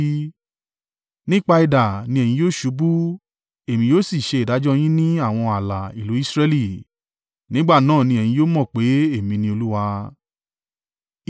Nípa idà ni ẹ̀yin yóò ṣubú, èmi yóò sì ṣe ìdájọ́ yín ní àwọn ààlà ìlú Israẹli. Nígbà náà ni ẹ̀yin yóò mọ̀ pé, Èmi ni Olúwa.